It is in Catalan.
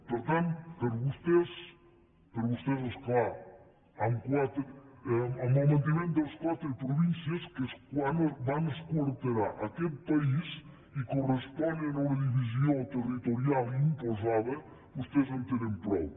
per tant vostès és clar amb el manteniment de les quatre províncies que és com van esquarterar aquest país i corresponen a una divisió territorial imposada vostès en tenen prou